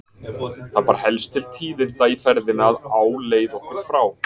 Það bar helst til tíðinda í ferðinni að á leið okkar frá